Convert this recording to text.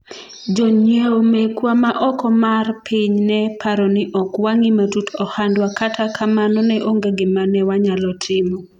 jonyiewo mekwa ma oko mar piny ne paro ni ok wang'I matut ohandwa kata kamano ne onge gima ne wanyalo timo